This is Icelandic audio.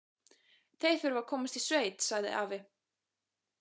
Þeir þurfa að komast í sveit, sagði afi.